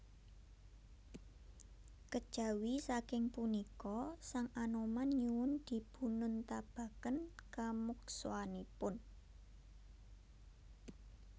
Kejawi saking punika sang Anoman nyuwun dipununtabaken kamukswanipun